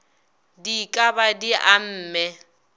di ka ba di amme